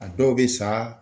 A dɔw bɛ sa